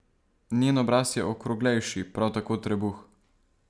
Njen obraz je okroglejši, prav tako trebuh.